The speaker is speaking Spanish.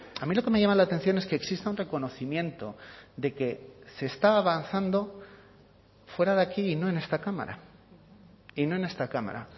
a mí lo que me llama la atención es que exista un reconocimiento de que se está avanzando fuera de aquí y no en esta cámara y no en esta cámara